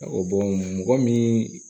Ɔ mɔgɔ min